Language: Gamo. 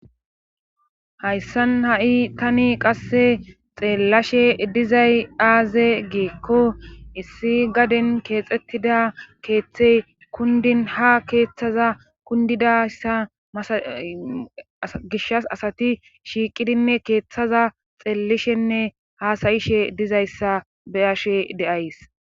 Hayssan ha7i tani qasse xeellashe dizay aaze geekko issi gaden keexxettida keeththey kundin ha keeththaza kundidayssa masa gishas asati shiiqidinne keeththaza xeellishenne hasayishe dizayssa beyashe deays